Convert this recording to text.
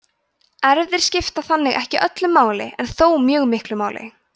erfðir skipta þannig ekki öllu máli en þó mjög miklu máli